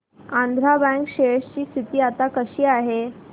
Andhra bank share ची स्थिती आता कशी आहे